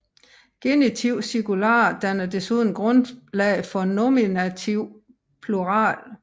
Genitiv singular danner desuden grundlag for nominativ plural